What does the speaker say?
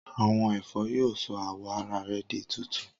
Awọn ẹfọ yoo sọ awọ ara rẹ di tuntun.